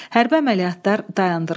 Hərbi əməliyyatlar dayandırıldı.